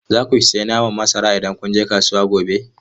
Za ku sayi naman masara idan kun je kasuwa gobe?